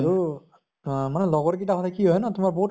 আৰু অ লগৰ কিটা হʼলে কি হয় ন তোমাৰ বহুত